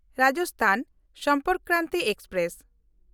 Rajasthan Sampark Kranti express